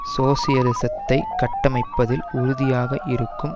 சோசலிசத்தை கட்டமைப்பதில் உறுதியாக இருக்கும்